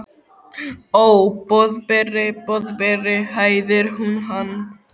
Ó, Boðberi, Boðberi hæðir hún hann.